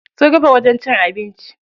Sun rufe wajen cin abinci.